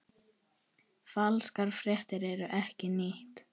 Falskar fréttir eru ekkert nýtt.